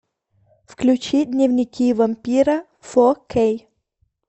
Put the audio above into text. включи дневники вампира фо кей